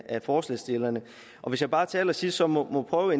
af forslagsstillerne hvis jeg bare til allersidst så må prøve